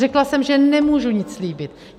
Řekla jsem, že nemůžu nic slíbit.